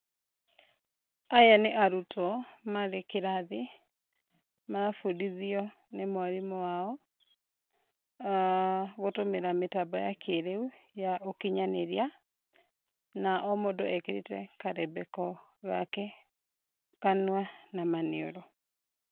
Aya nĩ arutwo marĩ kĩrathi marabundithio nĩ mwarimũ wao, gũtũmĩra mĩtambo ya kĩrĩu ya ũkinyanĩria na o mũndũ ekĩrĩte karembeko gake kanua na maniũrũ.